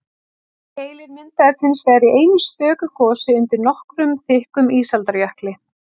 keilir myndaðist hins vegar í einu stöku gosi undir nokkuð þykkum ísaldarjökli